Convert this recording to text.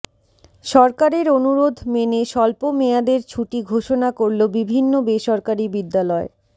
সরকারের অনুরোধ মেনে স্বল্প মেয়াদের ছুটি ঘোষণা করল বিভিন্ন বেসরকারি বিদ্যালয়